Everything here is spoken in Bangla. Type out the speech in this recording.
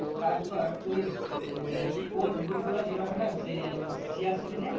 কাজ কর তুই আহ sports boot গুলো যেগুলো হয় না সেই CR seven এর